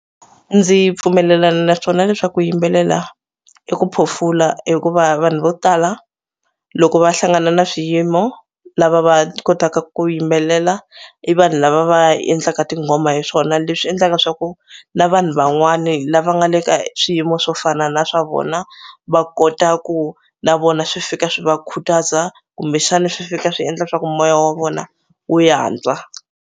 Ndzi pfumelelana naswona leswaku ku yimbelela i ku phofula hikuva vanhu vo tala loko va hlangana na swiyimo lava va kotaka ku yimbelela i vanhu lava va endlaka tinghoma hi swona leswi endlaka swa ku na vanhu van'wani lava nga le ka swiyimo swo fana na swa vona va kota ku na vona swi fika swi va khutaza kumbexana swi fika swi endla swa ku moya wa vona wu yantswa.